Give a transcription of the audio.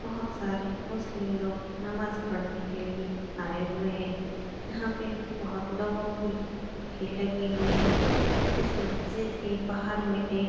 बहोत सारे मुस्लिम लोग नमाज पढने के लिए आये हुए हैं। यहाँ पे बहोत लोगो की भीड़ लगी हुई है। इस मस्जिद के बाहर में एक --